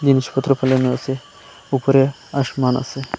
জিনিসপত্র ফেলানো আসে উপরে আসমান আসে ।